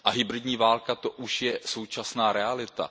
A hybridní válka, to už je současná realita.